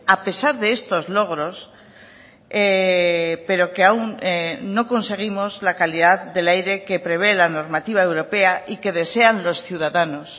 a pesar de estos logros pero que aún no conseguimos la calidad del aire que prevé la normativa europea y que desean los ciudadanos